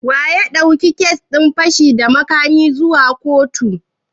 Wanene ya ɗauki kes din fashi da makamin zuwa kotu?